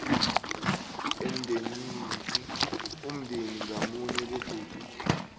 umndeni ngamunye begodu